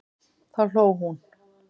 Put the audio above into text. Þá hló hún.